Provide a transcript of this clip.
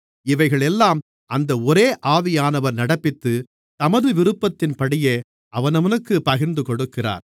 இவைகளையெல்லாம் அந்த ஒரே ஆவியானவர் நடப்பித்து தமது விருப்பத்தின்படியே அவனவனுக்குப் பகிர்ந்துகொடுக்கிறார்